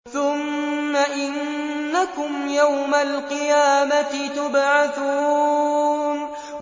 ثُمَّ إِنَّكُمْ يَوْمَ الْقِيَامَةِ تُبْعَثُونَ